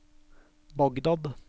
Bagdad